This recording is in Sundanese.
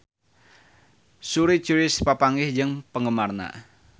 Suri Cruise papanggih jeung penggemarna